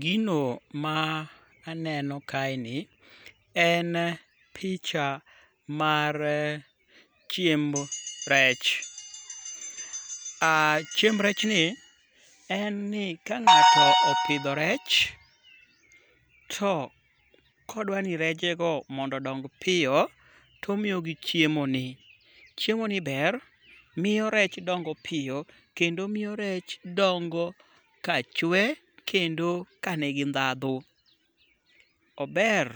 Gino ma aneno kaeni, en picha mar chiemb rech. AA chiemb rechni en ni ka ng'ato opidho rech to kodwani rejego mondo ondong piyo , to omiyo gi chiemoni. Chiemoni ber miyo rech dongo piyo kendo omiyo rech dongo kachwe kendo ka nigi ndhadhu. Ober